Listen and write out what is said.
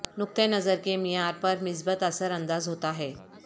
نقطہ نظر کے معیار پر مثبت اثر انداز ہوتا ہے